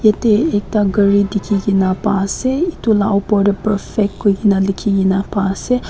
te ekta ghar dikhi ki na Paisa itu perfect koikuni dikhi ki na Paisa.